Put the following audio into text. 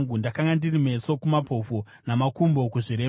Ndakanga ndiri meso kumapofu namakumbo kuzvirema.